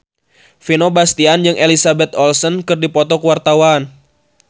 Vino Bastian jeung Elizabeth Olsen keur dipoto ku wartawan